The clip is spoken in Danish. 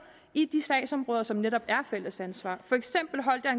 i de sagsområder som netop er et fælles ansvar for eksempel holdt jeg